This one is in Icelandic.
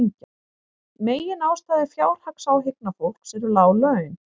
Meginástæða fjárhagsáhyggna fólks eru lág laun